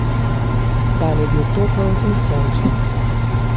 Dan je bil topel in sončen.